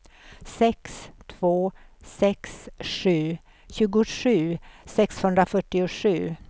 sex två sex sju tjugosju sexhundrafyrtiosju